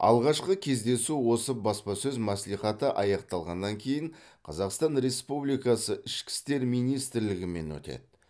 алғашқы кездесу осы баспасөз мәслихаты аяқталғаннан кейін қазақстан республикасы ішкі істер министрлігімен өтеді